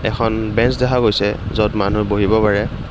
এখন বেঞ্চ দেখা গৈছে য'ত মানুহ বহিব পাৰে।